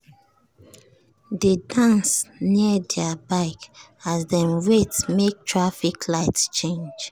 dey dance near their bike as dem wait make traffic light change.